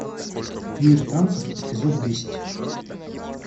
мир танцев эпизод десять